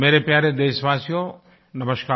मेरे प्यारे देशवासियोंनमस्कार